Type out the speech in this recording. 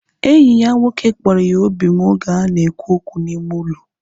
Enyi ya nwoke kpọrọ ya obim oge ha na ekwu okwu n'ime ụlọ